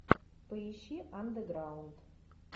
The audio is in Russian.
поищи андеграунд